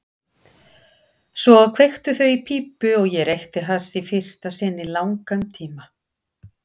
Svo kveiktu þau í pípu og ég reykti hass í fyrsta sinn í langan tíma.